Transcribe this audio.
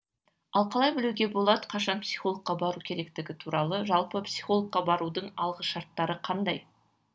ал қалай білуге болады қашан психологқа бару керектігі туралы жалпы психологқа барудың алғы шарттары қандай